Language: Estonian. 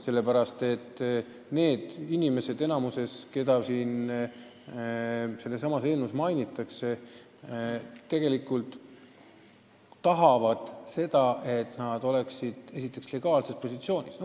Sellepärast et need inimesed, keda eelnõuga silmas peetakse, tahavad vaid, et nende positsioon võõras riigis oleks legaalne.